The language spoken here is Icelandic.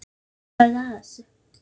Hvernig ferðu að þessu?